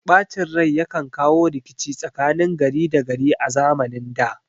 Ɓacin rai yakan kawo rikici tsakanin gari da gari a zamanin da